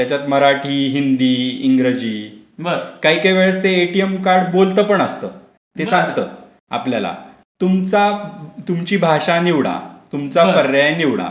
त्याच्यात मराठी मराठी हिंदी इंग्रजी काही काही वेळेस ते एटीएम कार्ड बोलतं पण असता. ते सांगतं आपल्याला. तुमचा तुमची भाषा निवडा तुमचा पर्याय निवडा.